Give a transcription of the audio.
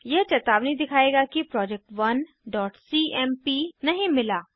यह चेतावनी दिखायेगा कि project1सीएमपी नहीं मिला